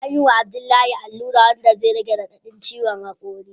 Anyi wa Abdullahi alura wanda zai rage radadin ciwon hakuri.